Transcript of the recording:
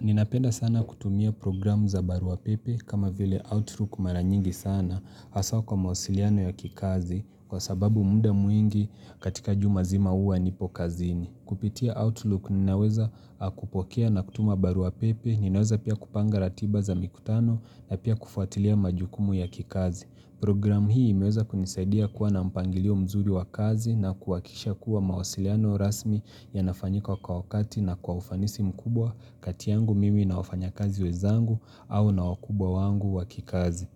Ninapenda sana kutumia programu za baruapepe kama vile Outlook maranyingi sana haswaa kwa mawasiliano ya kikazi kwa sababu muda mwingi katika jumazima uwa nipo kazini. Kupitia Outlook ninaweza kupokea na kutuma baruapepe ninaweza pia kupanga ratiba za mikutano na pia kufuatilia majukumu ya kikazi. Program hii imeweza kunisaidia kuwa na mpangilio mzuri wa kazi na kuwakisha kuwa mawasiliano rasmi ya nafanyika kwa wakati na kwa ufanisi mkubwa katiyangu mimi na wafanya kazi wezangu au na wakubwa wangu wakikazi.